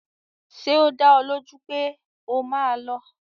Ṣé o dá ọ lójú pé o máa lọ?